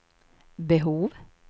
behov